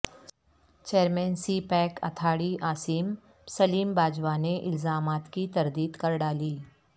chairman CPEC authority Asim Saleem Bajwa نے الزامات کی تردید کر ڈالی